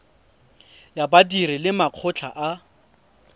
ya badiri le makgotla a